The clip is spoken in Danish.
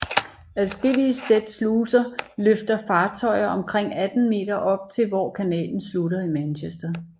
Adskullige sæt sluser løfter fartøjer omkring 18 m op til hvor kanalens slutter i Manchester